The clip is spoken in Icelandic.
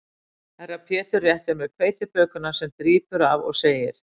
Herra Pétur réttir mér hveitibökuna sem drýpur af og segir